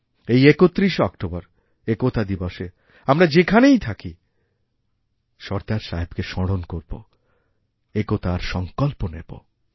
এই ৩১শে অক্টোবর একতা দিবসে আমরা যেখানেই থাকি সর্দার সাহেবকে স্মরণ করব একতারসংকল্প নেব